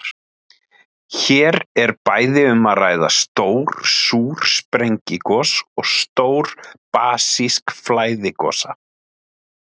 Hér er bæði um að ræða stór súr sprengigos og stór basísk flæðigosa.